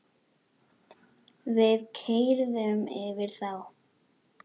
Við keyrðum yfir þá.